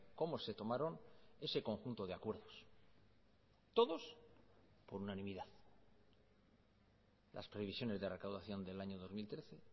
cómo se tomaron ese conjunto de acuerdos todos por unanimidad las previsiones de recaudación del año dos mil trece